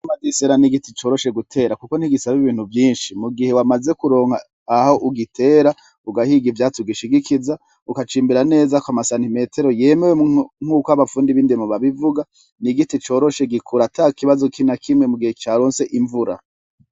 Icamwa c'isera n'igiti coroshe gutera kuko ntigisaba ibintu vyishi mugihe wamaze kuronka aho ugitera ugahiga ivyatsi ugishigikiza ukacimbira neza k'umasantimetero yemewe nkuko abafundi b'indimo babivuga n'igiti coroshe gikura atakibazo na kimwe mugihe caronse imvura.